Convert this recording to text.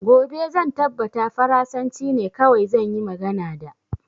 Gobe zan tabbata farasanci ne kawai zan yi magana da